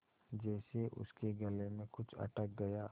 जैसे उसके गले में कुछ अटक गया